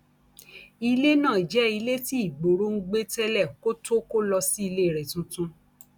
ilé náà jẹ ilé tí igboro ń gbé tẹlẹ kó tóó kó lọ sí ilé rẹ tuntun